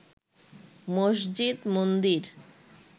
মসজিদ মন্দির